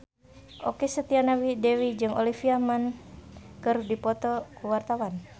Okky Setiana Dewi jeung Olivia Munn keur dipoto ku wartawan